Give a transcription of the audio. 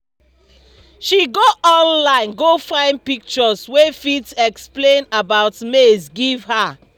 she go online go find pictures wey fit explain about maize give her